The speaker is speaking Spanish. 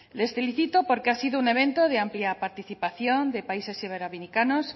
les felicito porque ha sido un evento de amplia participación de países iberoamericanos